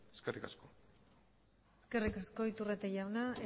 eskerrik asko eskerrik asko iturrate jauna